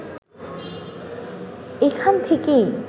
এখান থেকেই